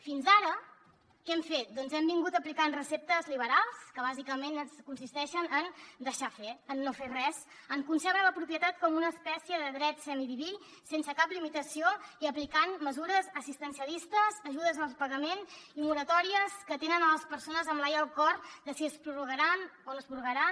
fins ara què hem fet doncs hem aplicat receptes liberals que bàsicament consisteixen en deixar fer en no fer res en concebre la propietat com una espècie de dret semidiví sense cap limitació i aplicant mesures assistencialistes ajudes al pagament i moratòries que tenen les persones amb l’ai al cor per si es prorrogaran o no es prorrogaran